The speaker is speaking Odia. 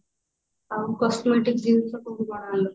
ଆଉ cosmetic ଜିନିଷ କୋଉଠି କଣ ଆଣିଲୁ